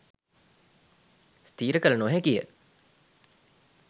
ස්ථිර කළ නොහැකිය.